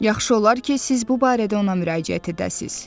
Yaxşı olar ki, siz bu barədə ona müraciət edəsiniz.